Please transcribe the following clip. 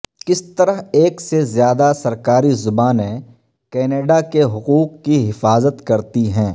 کس طرح ایک سے زیادہ سرکاری زبانیں کینیڈا کے حقوق کی حفاظت کرتی ہیں